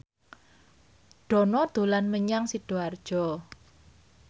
Dono dolan menyang Sidoarjo